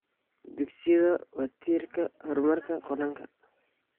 Dugsiyada waa tiirkii horumarka qaranka.